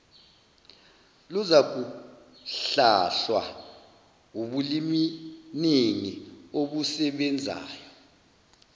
luzakuhlahlwa wubuliminingi obusebenzayo